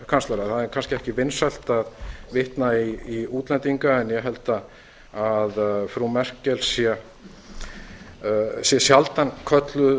þýskalandskanslara það er kannski ekki vinsælt að vitna í útlendinga en ég held að frú merkel sé sjaldan kölluð